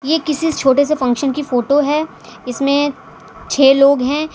ये किसी छोटे से फंक्शन की फोटो है इसमें छे लोग हैं।